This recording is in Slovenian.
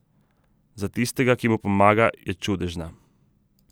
Za tistega, ki mu pomaga, je čudežna.